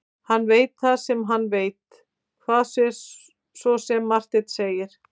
Hann veit það sem hann veit, hvað svo sem Marteinn segir.